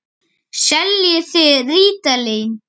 Seljið þið rítalín?